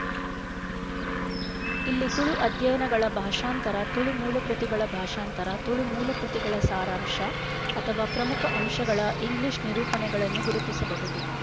ಇಲ್ಲಿ ತುಳು ಅಧ್ಯಯನಗಳ ಭಾಷಾಂತರ ತುಳು ಮೂಲ ಕೃತಿಗಳ ಭಾಷಾಂತರ ತುಳು ಮೂಲ ಕೃತಿಗಳ ಸಾರಾಂಶ ಅಥವಾ ಪ್ರಮುಖ ಅಂಶಗಳ ಇಂಗ್ಲೀಷ್ ನಿರೂಪಣೆಗಳನ್ನು ಗುರುತಿಸಬಹುದು